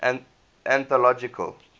anthological